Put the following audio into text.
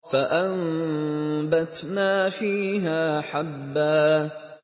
فَأَنبَتْنَا فِيهَا حَبًّا